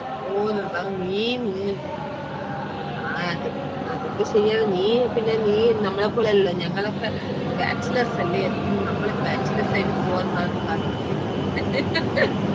ഓ ന്നാലും നീ മ് ആ അതൊക്കെ അതൊക്കെശേരിയാണ് നീയ് പിന്നെ നീ നമ്മളേപോലെ അല്ലല്ലോ ഞങ്ങളൊക്കെ bachelors അല്ലെ നമ്മൾ bachelors ആയിട്ട് പോവാനാണ് താല്പര്യം